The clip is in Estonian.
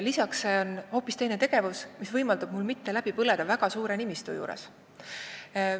Peale selle, hoopis teine tegevus võimaldab mul mitte läbi põleda oma väga suure nimistu juures.